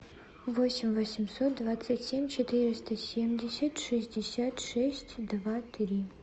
восемь восемьсот двадцать семь четыреста семьдесят шестьдесят шесть два три